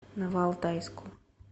новоалтайску